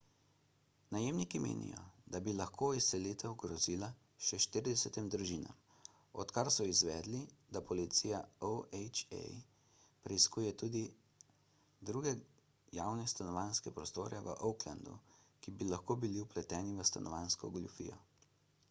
najemniki menijo da bi lahko izselitev grozila še 40 družinam odkar so izvedeli da policija oha preiskuje tudi druge javne stanovanjske prostore v oaklandu ki bi lahko bili vpleteni v stanovanjsko goljufijo